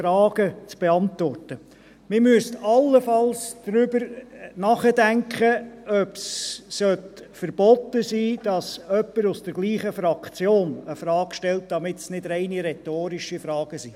Allenfalls müsste man darüber nachdenken, ob es verboten sein sollte, dass jemand aus derselben Fraktion eine Frage stellt, damit es keine rein rhetorischen Fragen sind.